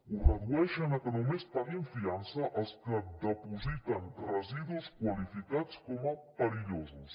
ho redueixen a que només paguin fiança els que dipositen residus qualificats com a perillosos